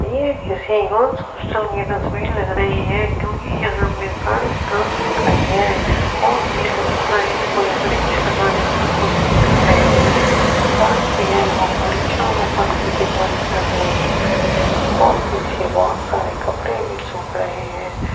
ये किसी girls hostel की तस्वीर लग रही है क्यूंकि यहां पे सारी गर्ल्स खड़ी हैं और ये लोग शायद कोई वृक्ष लगाने की कोशिश कर रहे हैं शायद ये लोग वृक्षारोपण की तैयारी कर रहे हैं और पीछे बहोत सारे कपड़े भी सूख रहे हैं।